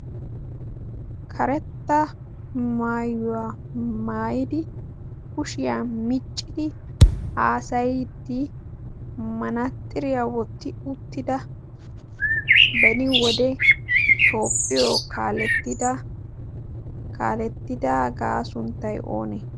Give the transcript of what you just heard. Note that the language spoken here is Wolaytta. karetta maayuwaa maayidi kushiyaa miccidi haasayiddi manatxiriyaa wotti uttida beni wode toopphiyo kaalettidagaa sunttay oonee?